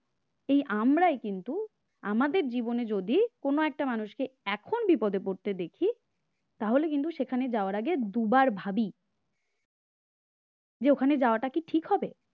এই আমরাই কিন্তু আমাদের জীবনে যদি কোন একটা মানুষকে এখন বিপদে পড়তে দেখি তাহলে কিন্তু সেখানে যাওয়ার আগে দুবার ভাবি যে ওখানে যাওয়াটা কি ঠিক হবে?